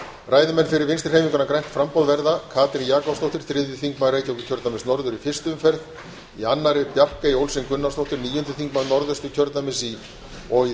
ræðumenn fyrir vinstri hreyfinguna grænt framboð verða katrín jakobsdóttir þriðji þingmaður reykjavík norður í fyrstu umferð í annarri bjarkey olsen gunnarsdóttir níundi þingmaður norðausturkjördæmis og í